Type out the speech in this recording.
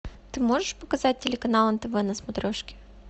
ты можешь показать телеканал нтв на смотрешке